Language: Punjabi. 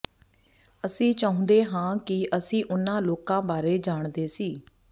ਅਸੀਂ ਚਾਹੁੰਦੇ ਹਾਂ ਕਿ ਅਸੀਂ ਉਨ੍ਹਾਂ ਲੋਕਾਂ ਬਾਰੇ ਜਾਣਦੇ ਸੀ